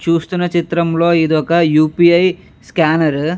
చూస్తున్న చిత్రం లో ఇదొక యూ పి ఐ స్కేనరు .